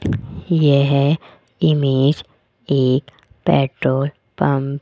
यह इमेज एक petrol pump --